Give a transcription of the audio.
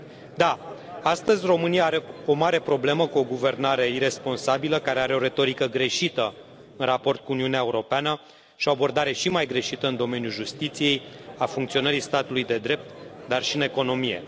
Da, astăzi, România are o mare problemă cu o guvernare iresponsabilă, care are o retorică greșită în raport cu Uniunea Europeană și o abordare și mai greșită în domeniul justiției, al funcționării statului de drept, dar și în economie.